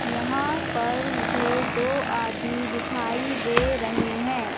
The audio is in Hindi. यहां पर मुझे दो आदमी दिखाई दे रहे हैं।